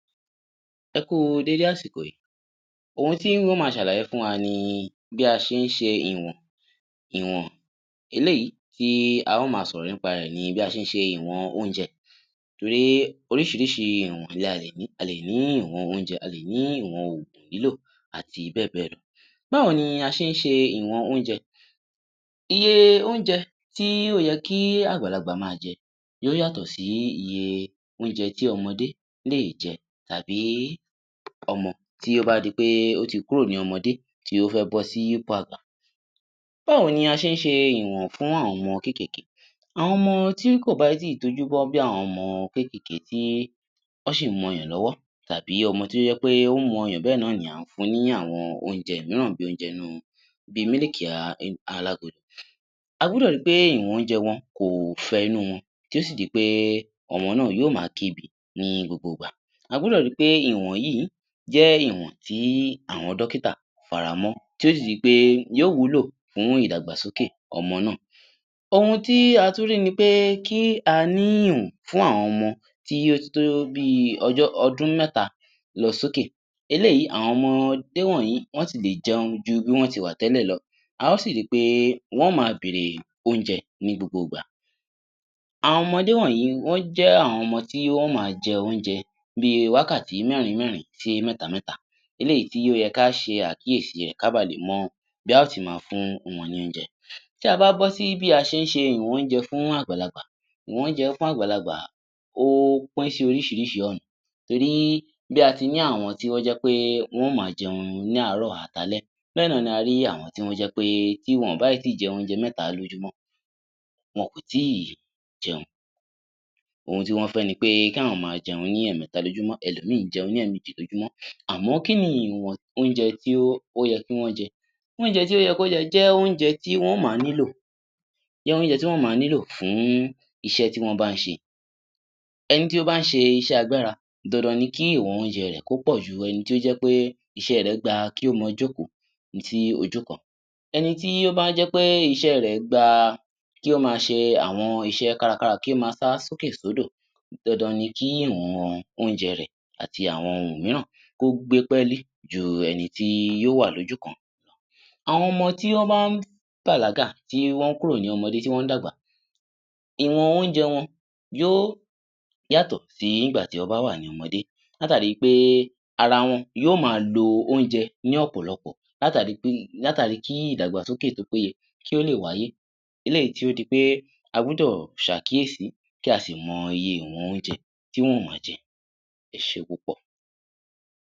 Ẹ kú u déédé àsìkò yí, ohun tí n ó ma ṣàlàyé fún wa ni bí a ṣe ń ṣe ìwọ̀n ìwọ̀n, eléyìí tí a ó ma sọ̀rọ̀ nípa rẹ̀ ni bí a ṣe ń ṣe ìwọ̀n oúnjẹ torí oríṣiríṣi ìwọ̀n ni a lè ní. A lè ní ìwọ̀n oúnjẹ, a lè ní ìwọ̀n ògùn lílò àti bẹ́ẹ̀ bẹ́ẹ̀ lọ. Báwo ni a ṣe ń ṣe ìwọ̀n oúnjẹ, iye oúnjẹ tí ó yẹ kí àgbàlagbà ma jẹ ó yàtọ̀ sí iye oúnjẹ tí ọmọdé lè jẹ tàbí ọmọ tí ó bá di pé ó ti kúrò ní ipò ọmọdé tí ó fẹ́ bọ́ sí ipò àgbà. Báwo ni a ṣe ń ṣe ìwọ̀n fún àwọn ọmọ kékèké, àwọn ọmọ tí kò bá tíì tójúbọ́ bí àwọn kékèké tí wọ́n ṣì ń mu ọyàn lọ́wọ́ tàbí ọmọ tí ó jẹ́ pé ó ń mu ọyàn bẹ́ẹ̀ náà ni à ń fun ní àẉon oúnjẹ míràn bíi mílìkì alágolo. A gbọ́dọ̀ ri pé ìwọ̀n oúnjẹ wọn kò fẹ inúu wọn tí ó sì di pé ọmọ náà yóò ma kébi ní gbogbo ìgbà. A gbọ́dọ̀ ri pé ìwọ̀n yíì jẹ́ ìwọ̀n tí àwọn dọ́kítà faramọ́ tí yóò sì di pé yóò wúlò fún ìdàgbàsókè ọmọ náà. Ohun tí a tún rí ni pé kí a ní ìwọ̀n fún àwọn ọmọ tí ó ti tó bíi ọdún mẹ́ta lọ sí òkè, eléyìí àwọn ọmọdé wọ̀nyí wọ́n ti lè jẹun ju bí wọ́n ti wà tẹ́lẹ̀ lo, a ó sì ri pé wọn ó ma bèèrè oúnjẹ ní gbogbo ìgbà. Àwọn ọmọdé wọ̀nyí wọ́n jẹ́ àwọn ọmọ tí wọn ó ma jẹ oúnjẹ bíi wákàtí mẹ́rin mẹ́rin sí mẹ́ta mẹ́ta, eléyìí tí ó yẹ kí á ṣe àkíyèsí rẹ̀ kí á ba lè mọ bí a ó ti ma fún wọn ní oúnjẹ. Tí a bá bọ́ sí bí a ṣe ń ṣe ìwọ̀n oúnjẹ fún àgbàlagbà, ìwọ̀n oúnjẹ fún àgbàlagbà ó pín sí oríṣiríṣi ọ̀nà torí bí a ti ní àwọn tó jẹ́ pé wọn yóò ma jẹun ní àárò àti alẹ́, béè náà la rí àwọn tí ó jẹ́ pé bí wọn ò bá tí ì jẹ oúnjẹ mẹ́ta lójúmọ́ wọn ò tí ì jẹun. Ohun tí wọ́n fẹ́ ni pé kí àwọ́n má a jẹun ní ẹ̀mẹ́ta lójúmọ́, ẹ lò míì jẹun ní ẹ̀mejì lójúmọ́ àmó kí ni ìwọ̀n oúnjẹ tí ó yẹ kí wọ́n jẹ. Oúnje tí ó yẹ kí wọ́n jẹ jẹ́ oúnjẹ tí wọn ó ma nílò fún iṣẹ́ tí wọ́n bá ń ṣe. Ẹni tí ó bá ń ṣe iṣẹ́ agbára dandan ni kí ìwọ̀n oúnjẹ rẹ̀ kó pọ̀ ju ẹni tí ó jẹ́ pé iṣẹ́ rẹ̀ gba kí ó ma jókòó sí ojú kan. Ẹni tí ó bá jé pé iṣẹ́ rẹ̀ gba kí ó ma ṣe àwọn iṣẹ́ kárakára, kí ó ma sá sókè sódò dandan ni kí ìwọ̀n oúnjẹ rẹ̀ àti àwọn ohun míràn kó gbé pẹ́ẹ́lí ju ẹni tí yóò wà lójúkan. Àwọn ọmọ tí wọ́n bá bàlágà tí wón kúrò ní ọmọdé tí wọ́n ń dàgbà, ìwọ̀n oúnjẹ wọn yóò yàtọ̀ sí ìgbà tí wọ́n bá wà ní ọmọ látàri pé ara wọn yóò ma lo oúnjẹ ní ọ̀pọ̀lọpò látàri kí ìdàgbàsókè tí ó péye kí ó lè wáyé eléyìí tí ó di pé a gbódò ṣàkíyèsí kí a sì mọ iye ìwọ̀n oúnjẹ tí wọn yóò ma jẹ, ẹ ṣé púpọ̀.